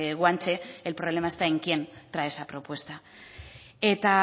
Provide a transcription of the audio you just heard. guanche el problema está en quién trae esa propuesta eta